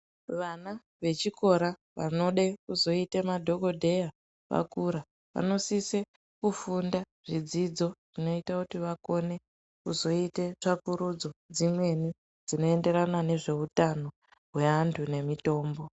Vana vechikora vanode kuzoite madhokodheya vakura vanosise kufunda zvidzidzo zvinoita kuti vakone kuzoite tsvakurudzo dzimweni dzinoenderana nezveutano hweantu nemitombo.